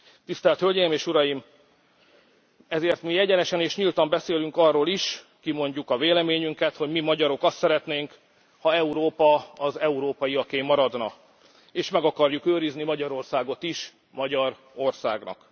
Tisztelt Hölgyim és Uraim, ezért mi egyenesen és nyíltan beszélünk arról is, kimondjuk a véleményünket, hogy mi, magyarok azt szeretnénk, ha Európa az európaiaké maradna, és meg akarjuk őrizni Magyarországot is magyar országnak.